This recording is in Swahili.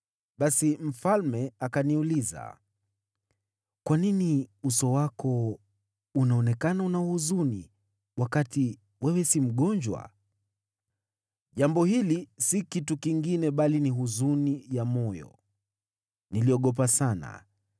Basi mfalme akaniuliza, “Kwa nini uso wako unaonekana una huzuni wakati wewe si mgonjwa? Jambo hili si kitu kingine bali ni huzuni ya moyo.” Niliogopa sana,